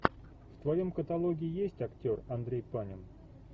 в твоем каталоге есть актер андрей панин